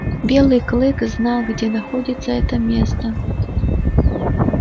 белый клык знал где находится это место